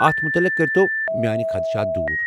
اتھ متعلق کٔرۍتو میٲنہِ خدشات دوٗر۔